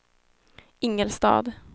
Ingelstad